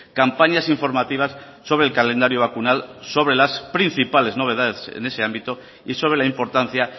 campañas informativas sobre el calendario vacunal sobre las principales novedades en ese ámbito y sobre la importancia